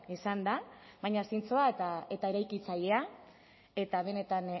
izan da baina zintzoa eta eta eraikitzailea eta benetan